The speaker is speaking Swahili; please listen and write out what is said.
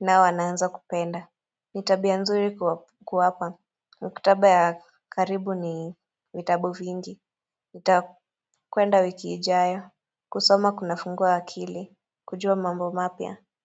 nao wanaanza kupenda ni tabia nzuri kuwapa, maktaba ya karibu ni vitabu vingi Nitakwenda wiki ijayo, kusoma kuna fungua akili, kujua mambo mapya.